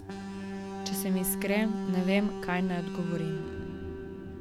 Če sem iskren, ne vem, kaj naj odgovorim.